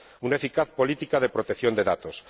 una eficaz política de protección de datos